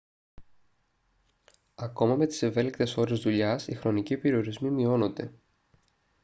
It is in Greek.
ακόμα με τις ευέλικτες ώρες δουλειάς οι χρονικοί περιορισμοί μειώνονται. μπρέμερ 1998